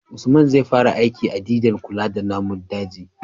usman zai fara aiki a didan kula da namun daji